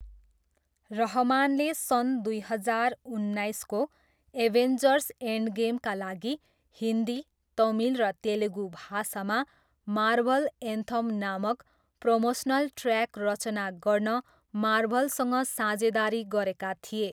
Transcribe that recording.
रहमानले सन् दुई हजार उन्नाइसको एभेन्जर्स एन्डगेमका लागि हिन्दी, तमिल र तेलुगु भाषामा मार्भल एन्थम नामक प्रोमोसनल ट्रयाक रचना गर्न मार्भलसँग साझेदारी गरेका थिए।